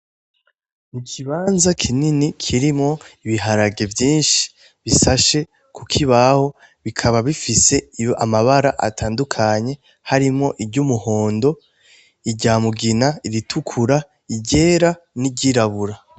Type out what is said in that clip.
N'ikibanza kinini kirimwo ibiharage vyinshi bisashe kukibaho bikaba bifise amabara atandukanye harimwo iry'umuhondo iry'umugina iritukura iryera n'iryirabura